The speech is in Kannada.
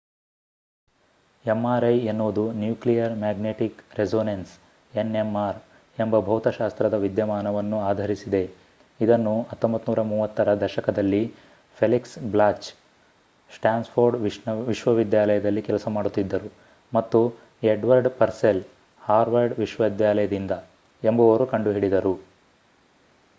mri ಎನ್ನುವುದು ನ್ಯೂಕ್ಲಿಯರ್ ಮ್ಯಾಗ್ನೆಟಿಕ್ ರೆಸೋನೆನ್ಸ್ nmr ಎಂಬ ಭೌತಶಾಸ್ತ್ರದ ವಿದ್ಯಮಾನವನ್ನು ಆಧರಿಸಿದೆ ಇದನ್ನು 1930 ರ ದಶಕದಲ್ಲಿ ಫೆಲಿಕ್ಸ್ ಬ್ಲಾಚ್ ಸ್ಟ್ಯಾನ್ಫೋರ್ಡ್ ವಿಶ್ವವಿದ್ಯಾಲಯದಲ್ಲಿ ಕೆಲಸ ಮಾಡುತ್ತಿದ್ದರು ಮತ್ತು ಎಡ್ವರ್ಡ್ ಪರ್ಸೆಲ್ ಹಾರ್ವರ್ಡ್ ವಿಶ್ವವಿದ್ಯಾಲಯದಿಂದ ಎಂಬುವವರು ಕಂಡುಹಿಡಿದರು